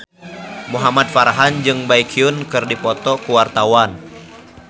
Muhamad Farhan jeung Baekhyun keur dipoto ku wartawan